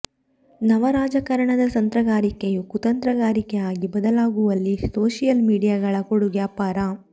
ನವ ರಾಜಕಾರಣದ ತಂತ್ರಗಾರಿಕೆಯು ಕುತಂತ್ರಗಾರಿಕೆ ಆಗಿ ಬದಲಾಗುವಲ್ಲಿ ಸೋಷಿಯಲ್ ಮೀಡಿಯಾಗಳ ಕೊಡುಗೆ ಅಪಾರ